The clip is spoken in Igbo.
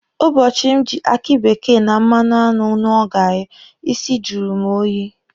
Ụbọchị m ji aki bekee na mmanụ aṅụ ṅụọ gaarị, isi jụrụ mụ oyi.